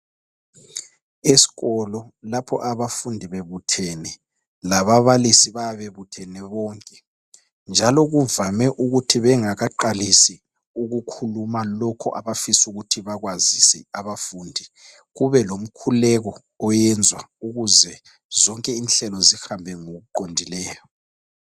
Esikolo lapho abafundi bebuthene lababalisi bayabe bebuthene bonke njalo kuvame ukuthi bengakaqalisi ukukhuluma lokhu abafisa ukuthi bakwazise abafundi kubelomkhuleko oyenzwa ukuze zonke inhlelo zihambe ngokuqondileyo.